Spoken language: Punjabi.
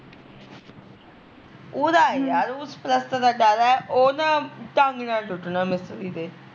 ਉਦਾ ਐ ਯਰ ਉਸ ਪਲੱਸਤਰ ਦਾ ਡਰ ਐ ਉਹ ਨਾ ਢੰਗ ਨਾਲ਼ ਟੁੱਟਣਾ ਮਿਸਤਰੀ ਤੇ